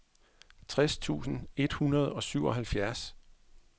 tres tusind et hundrede og syvoghalvfjerds